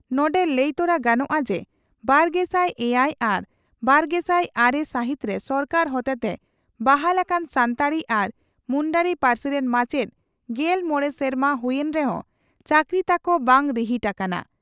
ᱱᱚᱰᱮ ᱞᱟᱹᱭ ᱛᱚᱨᱟ ᱜᱟᱱᱚᱜᱼᱟ ᱡᱮ ᱵᱟᱨᱜᱮᱥᱟᱭ ᱮᱭᱟᱭ ᱟᱨ ᱵᱟᱨᱜᱮᱥᱟᱭ ᱟᱨᱮ ᱥᱟᱹᱦᱤᱛᱨᱮ ᱥᱚᱨᱠᱟᱨ ᱦᱚᱛᱮᱛᱮ ᱵᱟᱦᱟᱞ ᱟᱠᱟᱱ ᱥᱟᱱᱛᱟᱲᱤ ᱟᱨ ᱢᱩᱱᱰᱟᱹᱨᱤ ᱯᱟᱹᱨᱥᱤ ᱨᱮᱱ ᱢᱟᱪᱮᱛ ᱜᱮᱞ ᱢᱚᱲᱮ ᱥᱮᱨᱢᱟ ᱦᱩᱭ ᱮᱱ ᱨᱮᱦᱚᱸ ᱪᱟᱹᱠᱨᱤ ᱛᱟᱠᱚ ᱵᱟᱝ ᱨᱤᱦᱤᱴ ᱟᱠᱟᱱᱟ ᱾